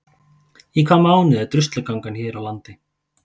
Í hvaða mánuði er Druslugangan gengin hér á landi?